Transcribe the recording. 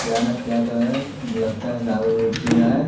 क्या न तो क्या है लगता है दारू-वूरु पी रहा है।